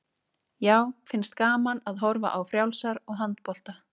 Já, finnst gaman að horfa á frjálsar og handbolta.